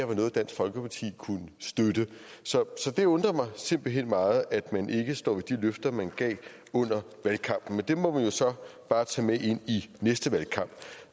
var noget dansk folkeparti kunne støtte så det undrer mig simpelt hen meget at man ikke står ved de løfter man gav under valgkampen men det må vi jo så bare tage med ind i næste valgkamp